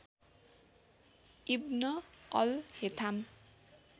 ibn al Haytham